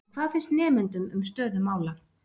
En hvað finnst nemendum um stöðu mála?